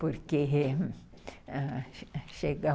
Porque chegam...